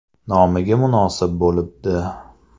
Nomiga munosib bo‘libdi.